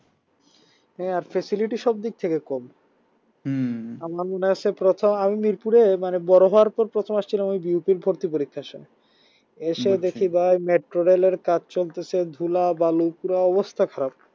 হ্যাঁ আর facility সবদিক থেকে কম হুম প্রথম আমি মিরপুরে মানে বড় হওয়ার পর প্রথম আসছিলাম আমি ভর্তি পরীক্ষার সময় এসে ভাই metro rail এর কাজ চলতিছে ধুলা বালু পুরা অবস্থা খারাপ